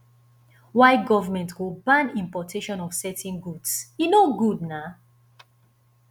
why government go ban importation of certain goods e no good na